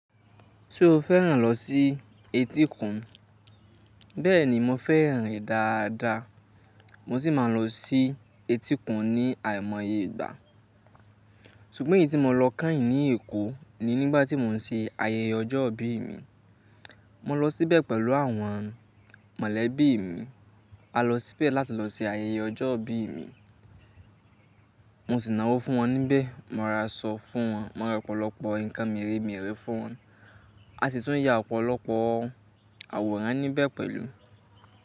Ṣé o fẹ́ràn lọ sí etíkun? Bẹ́ẹ̀ni, mo fẹ́ràn rẹ̀ dáadáa. Mo sì máa ń lọ sí etíkun ní àìmoye ìgbà. Sugbọn èyí tí mo lọ kányìn ní Èkó ni nígbà tí mò ń ṣe ayẹyẹ ọjọ́ ìbí mi. Mo lọ síbẹ̀ pẹ̀lú àwọn mọ̀lẹ́bí mi. A lọ síbẹ̀ láti lọ se ayẹyẹ ọjọ́ ìbí mi. Mo sì náwó fún wọn níbẹ̀, mo ra aṣọ fún wọn, mo ra ọ̀pọ̀lọpọ̀ nǹkan mèremère fún wọn. A sì tún ya ọ̀pọ̀lọpọ̀ àwòrán níbẹ̀ pẹ̀lú.